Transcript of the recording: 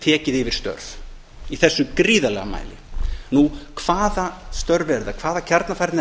tekið yfir störf í þessum gríðarlega mæli hvaða störf eru það hvaða kjarnafærni er